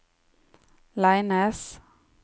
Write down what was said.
Leines